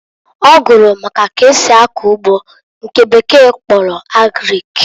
Ọ gụrụ maka k'esi akọ ugbo nke bekee kpọrọ Agrik.